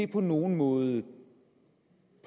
på nogen måde